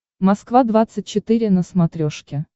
москва двадцать четыре на смотрешке